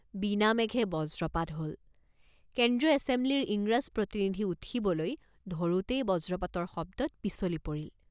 বিনা মেঘে বজ্ৰপাত হ'ল। কেন্দ্ৰীয় এছেমব্লিৰ ইংৰাজ প্ৰতিনিধি উঠিবলৈ ধৰোঁতেই বজ্ৰপাতৰ শব্দত পিছলি পৰিল।